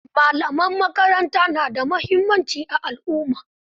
Malaman makaranta na da muhimmanci a alumma.